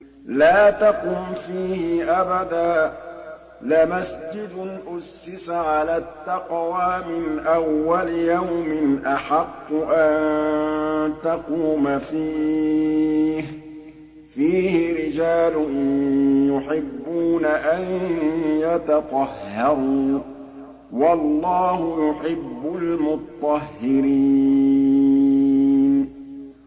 لَا تَقُمْ فِيهِ أَبَدًا ۚ لَّمَسْجِدٌ أُسِّسَ عَلَى التَّقْوَىٰ مِنْ أَوَّلِ يَوْمٍ أَحَقُّ أَن تَقُومَ فِيهِ ۚ فِيهِ رِجَالٌ يُحِبُّونَ أَن يَتَطَهَّرُوا ۚ وَاللَّهُ يُحِبُّ الْمُطَّهِّرِينَ